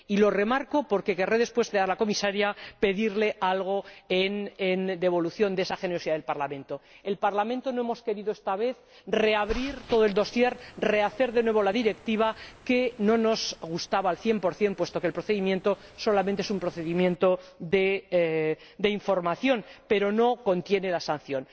y lo remarco porque querré después pedirle a la Comisaria algo en devolución de esa generosidad del Parlamento. El Parlamento no ha querido esta vez reabrir todo el dosier, rehacer de nuevo la Directiva, que no nos gustaba al cien por cien, puesto que el procedimiento solamente es un procedimiento de información, pero no incluye la sanción.